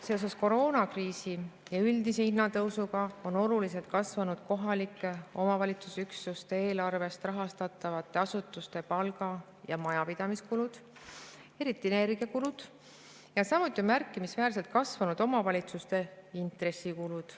Seoses koroonakriisi ja üldise hinnatõusuga on oluliselt kasvanud kohalike omavalitsusüksuste eelarvest rahastatavate asutuste palga‑ ja majapidamiskulud, eriti energiakulud, ja samuti on märkimisväärselt kasvanud omavalitsuste intressikulud.